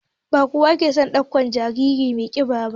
Ba kowa ke son ɗaukan jariri mai ƙiba ba